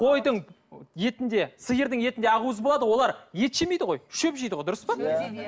қойдың етінде сиырдың етінде ақуыз болады ғой олар ет жемейді ғой шөп жейді ғой дұрыс па